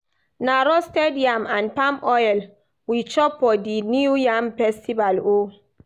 Na roasted yam and palm oil we chop for di New Yam Festival o.